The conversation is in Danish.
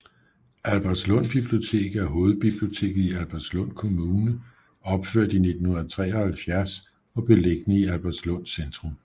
Albertslund Bibliotek er hovedbiblioteket i Albertslund Kommune opført i 1973 og beliggende i Albertslund Centrum